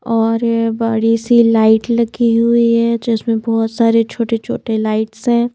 और बड़ी सी लाइट लगी हुई है जिसमें बहुत सारे छोटे-छोटे लाइट्स हैं।